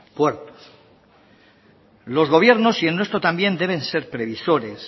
puertos los gobiernos y el nuestro también deben ser previsores